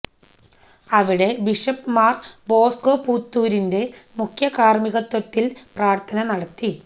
അവിടെ ബിഷപ് മാര് ബോസ്കോ പുത്തൂരിന്റെ മുഖ്യകാര്മികത്വത്തില് പ്രാര്ഥന നടത്തി